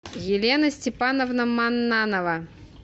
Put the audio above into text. елена степановна маннанова